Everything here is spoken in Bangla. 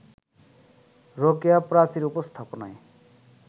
রোকেয়া প্রাচীর উপস্থাপনায়